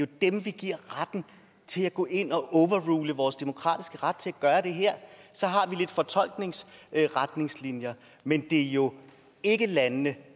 dem vi giver retten til at gå ind og overrule vores demokratiske ret til at gøre det her så har vi lidt fortolkningsretningslinjer men det er jo ikke landene